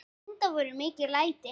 Enda voru mikil læti.